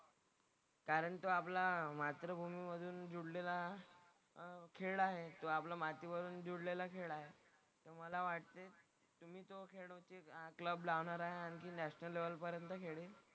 कारण तो आपला मातृभूमीमधून जुडलेला अह खेळ आहे जो आपला मातीवरून जुडलेला खेळ आहे. तर मला वाटतंय की मी तो खेळ क्लब लावणार आहे. आणखी नॅशनल लेव्हल पर्यंत खेळीन.